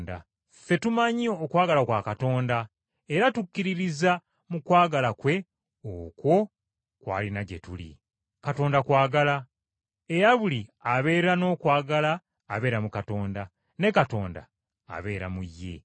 Ffe tumanyi okwagala kwa Katonda era tukkiririza mu kwagala kwe okwo kw’alina gye tuli. Katonda kwagala, era buli abeera n’okwagala abeera mu Katonda, ne Katonda abeera mu ye.